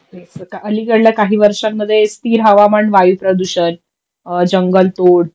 अलिकडल्या काही वर्षांमध्ये स्थिर हवामान वायू प्रदूषण अ जंगल तोड